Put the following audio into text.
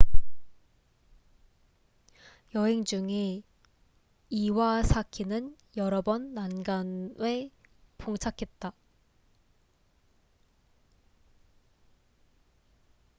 여행 중에 이와사키는 여러 번 난관에 봉착했다